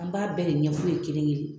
An b'a bɛɛ de ɲɛf'u ɲɛna kelen kelen.